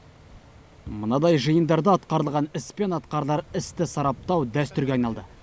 мынадай жиындарда атқарылған іс пен атқарылар істі сараптау дәстүрге айналды